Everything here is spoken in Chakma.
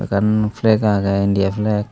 ekkan flag age India flag.